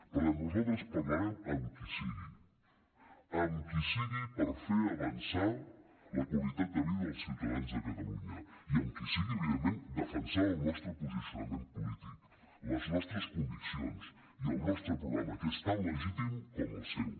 per tant nosaltres parlarem amb qui sigui amb qui sigui per fer avançar la qualitat de vida dels ciutadans de catalunya i amb qui sigui evidentment defensant el nostre posicionament polític les nostres conviccions i el nostre programa que és tan legítim com el seu